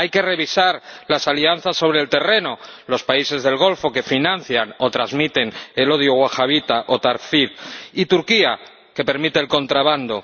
Hay que revisar las alianzas sobre el terreno con los países del Golfo, que financian o transmiten el odio wahabí o takfirí, y con Turquía, que permite el contrabando.